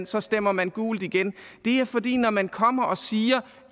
så stemmer man gult igen det er fordi når man kommer og siger